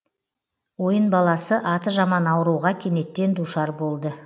ойын баласы аты жаман ауруға кенеттен душар болды